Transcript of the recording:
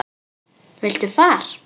Viltu far?